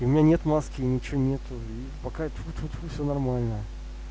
у меня нет маски и ничего нету и пока тьфу-тьфу-тьфу все нормально